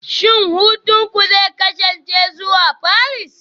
Shin hutunku zai kasance zuwa Paris?